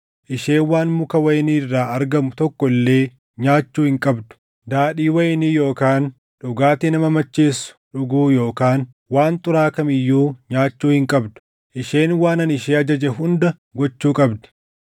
Isheen waan muka wayinii irraa argamu tokko illee nyaachuu hin qabdu; daadhii wayinii yookaan dhugaatii nama macheessu dhuguu yookaan waan xuraaʼaa kam iyyuu nyaachuu hin qabdu. Isheen waan ani ishee ajaje hunda gochuu qabdi.”